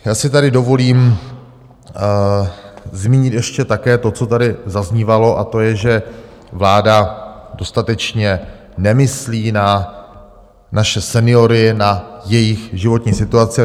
Já si tady dovolím zmínit ještě také to, co tady zaznívalo, a to je, že vláda dostatečně nemyslí na naše seniory, na jejich životní situace.